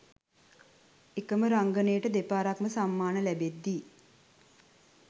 එකම රංගනයට දෙපාරක්ම සම්මාන ලැබෙද්දී